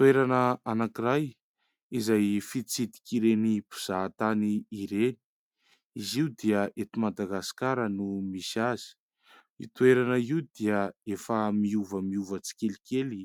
Toerana anankiray izay fitsidika ireny mpizahatany ireny ; izy io dia ety Madagasikara no misy azy ; io toerana io dia efa miovamiova tsikelikely